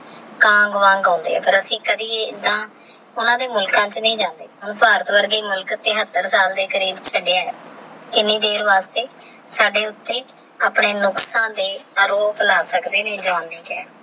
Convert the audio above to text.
ਕੰਗ ਵਾਂਗ ਆਉਂਦੇ ਆਹ ਅਸੀਂ ਕਦੇ ਏਹ੍ਹ ਆਈਦਾ ਭਰ ਦੇ ਮੁਲਕਾ ਚ ਨਹੀ ਜਾਂਦੇ ਭਾਰਤ ਵਰਗੇ ਦੇ ਮੁਲਕ ਅੰਦਰ ਹੀ ਤਿਹਾੱਤਰ ਸਾਲ ਦੇ ਕਰੀਬ ਚੜੇ ਆਹ ਐਨੀ ਦੇਰ ਦੇ ਅਗੇ ਕਪੜੇ ਦੇ ਅਰੂਪ ਲਾ ਸਕਦੇ ਆਏ